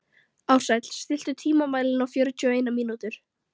Ársæll, stilltu tímamælinn á fjörutíu og eina mínútur.